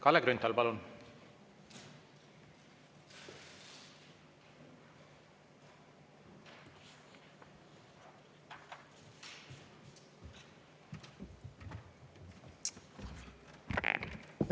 Kalle Grünthal, palun!